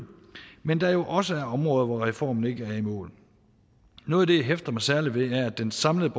men at der også er områder hvor reformen ikke er i mål noget af det jeg hæfter mig særlig ved er at den samlede